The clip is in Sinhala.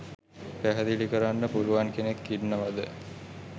පැහැදිලි කරන්න පුළුවන් කෙනෙක් ඉන්නවද?